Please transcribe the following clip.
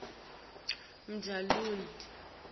jamludi